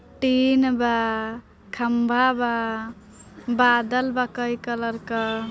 Tin बा खंभा बा बादल बा कई कलर के।